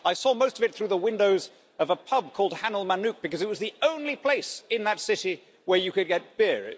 I saw most of it through the windows of a pub called Hanul lui Manuc, because it was the only place in that city where you could get beer.